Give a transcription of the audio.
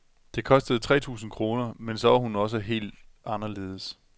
Det kostede tre tusind kroner, men så var hun også helt anderledes.